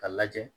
K'a lajɛ